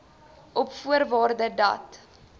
op voorwaarde dat